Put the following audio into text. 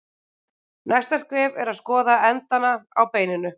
Næsta skref er að skoða endana á beininu.